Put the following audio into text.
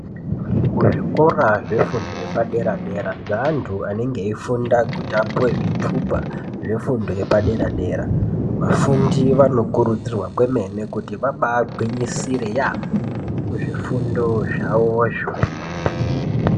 Kuzvikora zvefundo yepadera dera zveanthu anenge eifunda kuti apuwe zvitupa zvefundo yepadera dera. Vafundi vanokurudzirwa kwemene kuti vabaagwinyisire yaambo kuzvifundo zvawozvo.